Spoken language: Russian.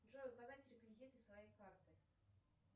джой указать реквизиты своей карты